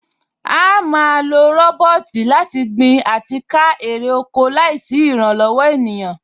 À á ma lo rọ́bọ́ọ̀tì láti gbin àti ká èrè oko láìsí ìrànlọ̀wọ̀ ènìyàn